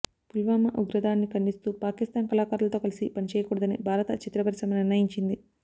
పుల్వామా ఉగ్రదాడిని ఖండిస్తూ పాకిస్థాన్ కళాకారులతో కలిసి పనిచేయకూడదని భారత చిత్ర పరిశ్రమ నిర్ణయించింది